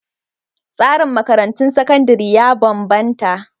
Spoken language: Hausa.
Tsarin makarantun sakandare ya bambanta..